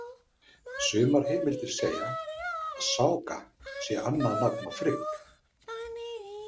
Sumar heimildir segja að Sága sé annað nafn á Frigg.